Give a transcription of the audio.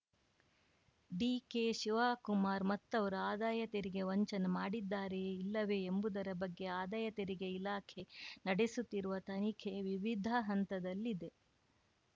ಡಿಕೆಶಿವಕುಮಾರ್‌ ಮತ್ತವರು ಆದಾಯ ತೆರಿಗೆ ವಂಚನೆ ಮಾಡಿದ್ದಾರೆಯೇ ಇಲ್ಲವೇ ಎಂಬುದರ ಬಗ್ಗೆ ಆದಾಯ ತೆರಿಗೆ ಇಲಾಖೆ ನಡೆಸುತ್ತಿರುವ ತನಿಖೆ ವಿವಿಧ ಹಂತದಲ್ಲಿದೆ